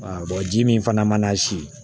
ji min fana mana si